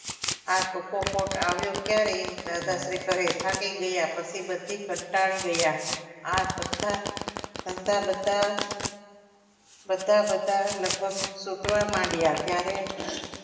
આ ચોખ્ખો કોટ આવ્યો ક્યારે દાદાશ્રી કહે થાકી ગયા પછી બધી કંટાળી ગયા આ બધા ધંધા બધા બધા લગભગ તુટવા માંડ્યા ત્યારે